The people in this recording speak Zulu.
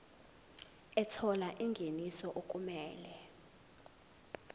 ethola ingeniso okumele